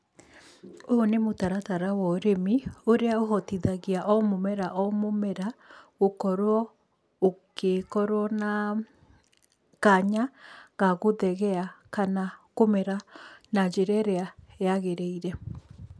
Ũyũ nĩ mũtaratara wa ũrĩmi ũrĩa ũhotithagia o mũmera o mũmera gũkorwo ũkĩkorwo na kanya ga gũthegea kana kũmera na njĩra ĩrĩa yagĩrĩire.